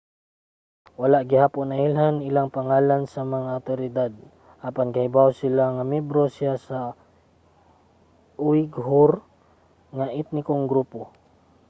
wala gihapon nailhan iyang pangalan sa mga awtoridad apan kahibawo sila nga miyembro siya sa uighur nga etnikong grupo